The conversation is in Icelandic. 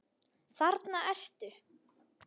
Þarna ertu!